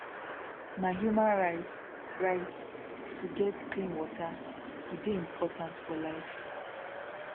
na human right right to get clean water e dey important for life